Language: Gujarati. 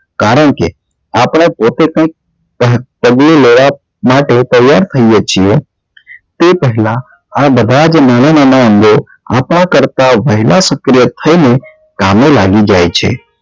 કારણ કે આપડે પોતે કઈક કરી લેવા માટે તૈયાર થઈએ છીએ તે પહેલા આ બધા નાના નાના અંગો આપણા કરતા વહેલા સક્રિય થઇ ને કામે લાગી જાય છે